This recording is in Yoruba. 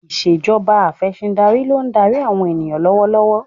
Ìṣèjọba Afẹ̀sìndarí ló ń darí àwọn ènìyàn lọ́wọ́ lọ́wọ́